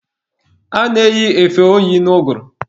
A na-eyi efe oyi n'ụgụrụ.